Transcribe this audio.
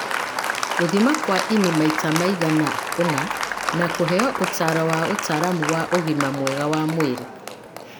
Gũthima kwa ini maita maigana ũna, na kũheo ũtaaro wa ũtaaramu wa ũgima mwega wa mwĩrĩ.